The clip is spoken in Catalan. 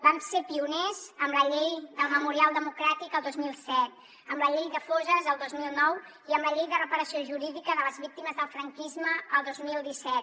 vam ser pioners amb la llei del memorial democràtic el dos mil set amb la llei de fosses el dos mil nou i amb la llei de reparació jurídica de les víctimes del franquisme el dos mil disset